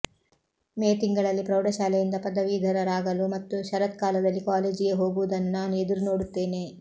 ಮೇ ತಿಂಗಳಲ್ಲಿ ಪ್ರೌಢಶಾಲೆಯಿಂದ ಪದವೀಧರರಾಗಲು ಮತ್ತು ಶರತ್ಕಾಲದಲ್ಲಿ ಕಾಲೇಜಿಗೆ ಹೋಗುವುದನ್ನು ನಾನು ಎದುರು ನೋಡುತ್ತೇನೆ